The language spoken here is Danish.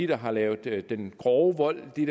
der har lavet den grove vold dem